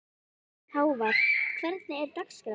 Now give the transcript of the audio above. Hávar, hvernig er dagskráin?